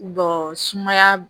sumaya